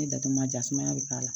Ne datugu ma ja sumaya bɛ k'a la